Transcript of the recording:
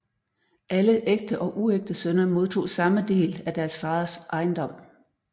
Alle ægte og uægte sønner modtog samme del af deres faders ejendom